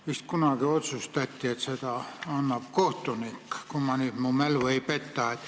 Vist kunagi otsustati, et jälitustoiminguteks annab loa kohtunik, kui mu mälu ei peta.